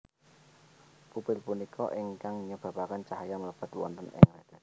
Pupil punika ingkang nyebabaken cahya mlebet wonten ing retina